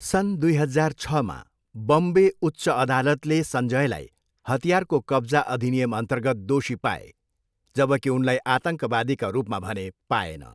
सन् दुई हजार छमा बम्बे उच्च अदालतले सञ्जयलाई हतियारको कब्जा अधिनियमअन्तर्गत दोषी पाए, जबकि उनलाई आतङ्कवादीका रूपमा भने पाएन।